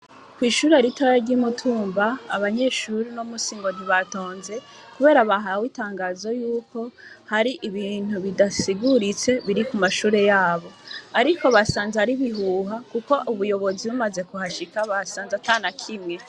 Kw'ishure ritaya ry'imutumba abanyeshuri no musingozi batonze, kubera bahawe itangazo yuko hari ibintu bidasiguritse biri ku mashure yabo, ariko basanze ari bihuha, kuko ubuyobozi bumaze kuhashika basanze atana kimwe.